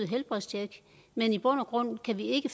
helbredstjek men i bund og grund kan vi ikke